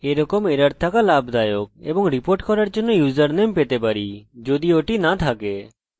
ধরে নেই যে সবকিছু ঠিক আছে চলুন রিফ্রেশ করি